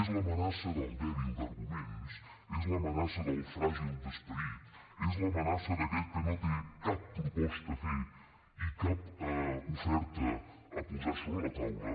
és l’amenaça del dèbil d’arguments és l’amenaça del fràgil d’esperit és l’amenaça d’aquell que no té cap proposta a fer i cap oferta a posar sobre la taula